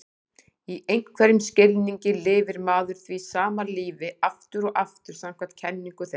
Í einhverjum skilningi lifir maður því sama lífinu aftur og aftur samkvæmt kenningu þeirra.